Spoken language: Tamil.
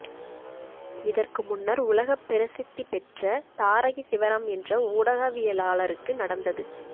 இதற்கு முன்னர் உலகப் பிரசித்தி பெற்ற தாரகி சிவராம் என்ற ஊடகவியலாளருக்கு நடந்தது